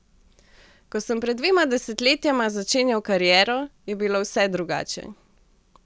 Ko sem pred dvema desetletjema začenjal kariero, je bilo vse drugače.